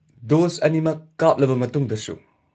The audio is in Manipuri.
ꯗꯣꯁ ꯑꯅꯤꯃꯛ ꯀꯥꯞꯂꯕ ꯃꯇꯨꯡꯗꯁꯨ?